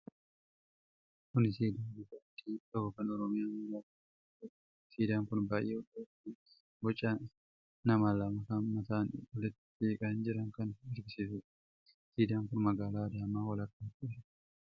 Kun siidaa bifa adii qabu kan Oromiyaa magaalaa Adaamatti argamuudha. Siidaan kun baay'ee ol dheeraa fi boca nama lamaa kan mataan walitti siqanii jiranii kan agarsiisudha. Siidaan kun magaalaa Adaamaa walakkaatti argama.